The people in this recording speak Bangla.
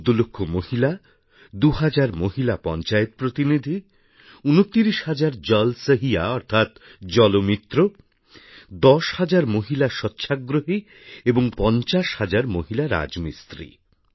১৪ লক্ষ মহিলা ২ হাজার মহিলা পঞ্চায়েত প্রতিনিধি ২৯ হাজার জল সহিয়া অর্থাৎ জল মিত্র ১০ হাজার মহিলা স্বচ্ছাগ্রহী এবং ৫০ হাজার মহিলা রাজমিস্ত্রি